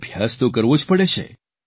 અભ્યાસ તો કરવો જ પડે છે